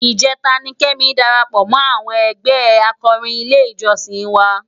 Ijètá ni Kemi dàrápò mò áwòn ègbè ákòrín ilé ijòsín wá